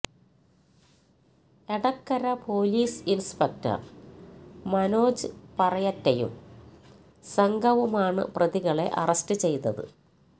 Edakkara police inspector Manoj പറയറ്റയും സംഘവുമാണ് പ്രതികളെ അറസ്റ്റ് ചെയ്തത്